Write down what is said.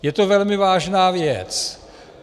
Je to velmi vážná věc.